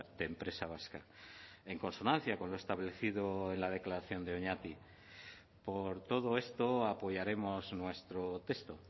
de empresa vasca en consonancia con lo establecido en la declaración de oñati por todo esto apoyaremos nuestro texto